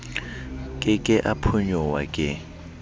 ke ke a phonyoha ke